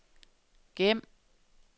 gem